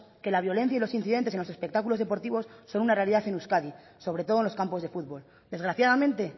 que la violencia y los incidentes en los espectáculos deportivos son una realidad en euskadi sobre todo en los campos de futbol desgraciadamente